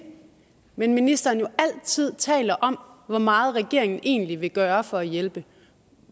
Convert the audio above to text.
men ministeren jo altid taler om hvor meget regeringen egentlig vil gøre for at hjælpe